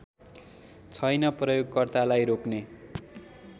छैन प्रयोगकर्तालाई रोक्ने